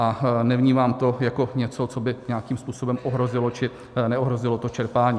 A nevnímám to jako něco, co by nějakým způsobem ohrozilo či neohrozilo to čerpání.